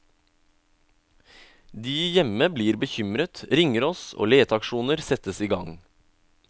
De hjemme blir bekymret, ringer oss, og leteaksjoner settes i gang.